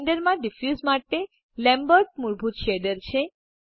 Blender માં diffuse માટે Lambert મૂળભૂત શેડર છે